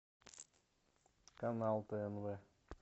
канал тнв